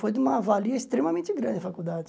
Foi de uma valia extremamente grande a faculdade.